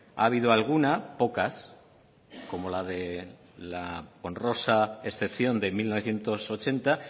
ha habido alguna pocas como la de la honrosa excepción de mil novecientos ochenta